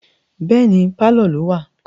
Bẹ́ẹ̀ni, pálọ̀ ló wà